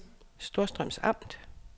Storstrøms Amt